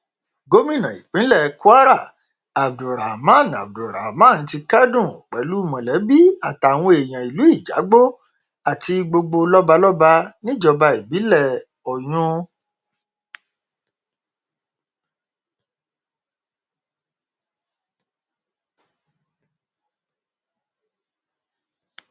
gomina ìpínlẹ kwara abdulrahman abdulrahman ti kẹdùn pẹlú mọlẹbí àtàwọn èèyàn ìlú ìjàgbó àti gbogbo lọbalọba níjọba ìbílẹ oyún